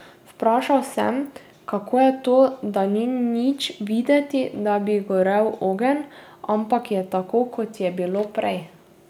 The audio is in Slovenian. Vprašal sem, kako je to, da ni nič videti, da bi gorel ogenj, ampak je tako, kot je bilo prej.